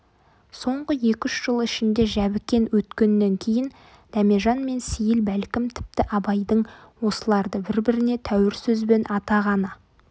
соңғы екі-үш жыл ішінде жәбікен өткеннен кейін дәмежан мен сейіл бәлкім тіпті абайдың осыларды бір-біріне тәуір сөзбен атағаны